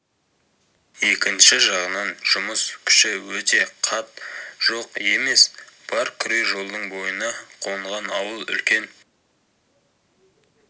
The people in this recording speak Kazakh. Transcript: екінші жағынан жұмыс күші өте қат жоқ емес бар күре жолдың бойына қонған ауыл үлкен